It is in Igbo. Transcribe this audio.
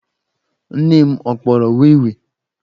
Nne m ọ kpọrọ wii wii?